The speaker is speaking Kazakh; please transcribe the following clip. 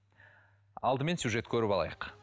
алдымен сюжет көріп алайық